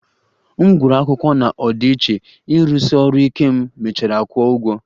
M gụsịrị akwụkwọ na ọdịiche, ịrụsi ọrụ ike m mechara kwụọ ụgwọ